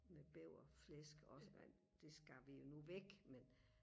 med bæverflæsk også og det skar vi jo nu væk men